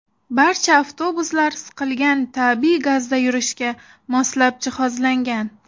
Barcha avtobuslar siqilgan tabiiy gazda yurishga moslab jihozlangan.